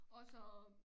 Og så